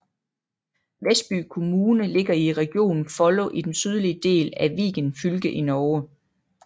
Vestby kommune ligger i regionen Follo i den sydlige del af Viken fylke i Norge